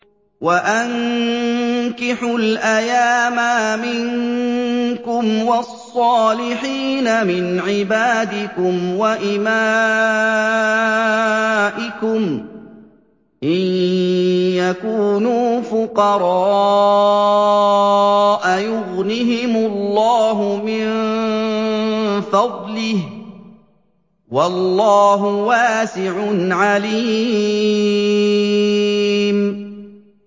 وَأَنكِحُوا الْأَيَامَىٰ مِنكُمْ وَالصَّالِحِينَ مِنْ عِبَادِكُمْ وَإِمَائِكُمْ ۚ إِن يَكُونُوا فُقَرَاءَ يُغْنِهِمُ اللَّهُ مِن فَضْلِهِ ۗ وَاللَّهُ وَاسِعٌ عَلِيمٌ